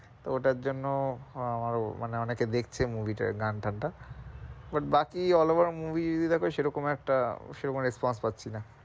তো ওটার জন্য আহ আরও অনেকে দেখছে movie টার গান টান টা but বাকি all over movie যদি দেখো সে রকম একটা সে রকম response পাচ্ছি না,